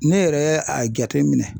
Ne yɛrɛ ye a jateminɛ